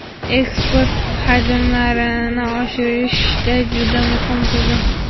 eksport hajmlarini oshirishda juda muhim tizim.